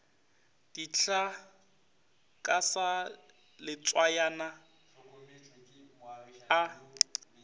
dihlaa ka sa letswayana a